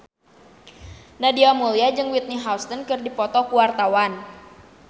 Nadia Mulya jeung Whitney Houston keur dipoto ku wartawan